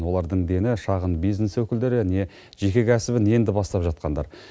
олардың дені шағын бизнес өкілдері не жеке кәсібін енді бастап жатқандар